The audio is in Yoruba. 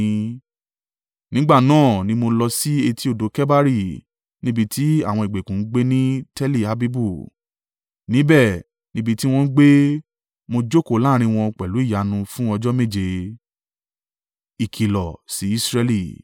Nígbà náà ni mo lọ sí etí odò Kebari níbi tí àwọn ìgbèkùn ń gbé ni Teli-Abibu. Níbẹ̀ níbi tí wọ́n ń gbé, mo jókòó láàrín wọn pẹ̀lú ìyanu, fún ọjọ́ méje.